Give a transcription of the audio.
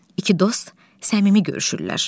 İki dost səmimi görüşürlər.